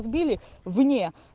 сбили вне